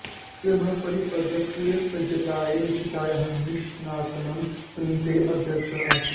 विक्रमः परिषदः पूर्वसज्जतायै रचितायाः निष्णातानां समितेः अध्यक्षः आसीत्